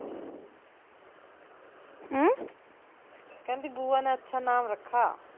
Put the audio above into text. ਕਹਿੰਦੀ ਬੂਆ ਨੇ ਅੱਛਾ ਨਾਮ ਰੱਖਾ